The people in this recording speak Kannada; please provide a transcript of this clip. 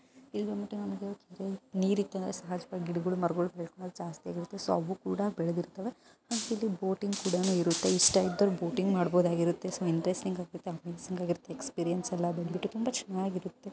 ಇಲ್ ಬಂದ್ಬಿಟ್ಟು ನಂಗೆ ನೀರಿದ್ದು ಅಂದ್ರೆ ಸಹಜವಾಗಿ ಗಿಡಗಳು ಮರಗಳು ಬೆಳ್ಕೊಳೋದ್ ಜಾಸ್ತಿಯಾಗಿರುತ್ತೆ. ಸೊ ಅವು ಕೂಡ ಬೆಳೆದಿರುತ್ತವೆ. ಇಲ್ಲಿ ಬೋಟಿಂಗ್ ಕೂಡ ಇರುತ್ತೆ ಇಷ್ಟ ಇದ್ದೋರು ಬೋಟಿಂಗ್ ಮಾಡಬಹುದಾಗಿರುತ್ತೆ. ಸೊ ಇಂಟರೆಸ್ಟಿಂಗ್ ಅಮೇಜಿಂಗ್ ಆಗಿರುತ್ತೆ ಎಕ್ಸ್ಪೀರಿಯನ್ಸ್ ಎಲ್ಲ ತುಂಬಾ ಚೆನ್ನಾಗಿರುತ್ತೆ.